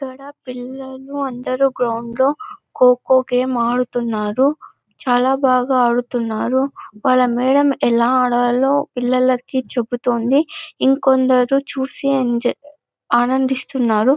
ఇక్కడ పిల్లలు అందరూ గ్రౌండ్ లో ఖో ఖో గేమ్ ఆడుతున్నారు చాల బాగా ఆడుతున్నారు వాళ్ళ మేడం ఎలా ఆడాలో పిల్లలకి చెబుతుంది ఏకొందరు చూసి ఎంజాయ్ ఆనందిస్తున్నారు.